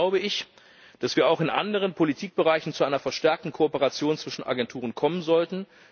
Vielmehr glaube ich, dass wir auch in anderen Politikbereichen zu einer verstärkten Kooperation zwischen Agenturen kommen sollten.